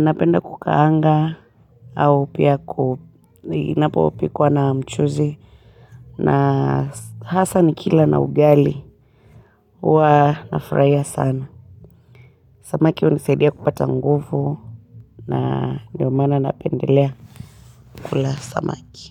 napenda kukaanga au pia inapopikwa na mchuzi na hasa nikila na ugali huwa nafurahia sana samaki hunisaidia kupata nguvu na ndiyo maana napendelea kula samaki.